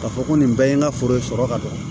K'a fɔ ko nin bɛɛ ye n ka foro sɔrɔ ka ban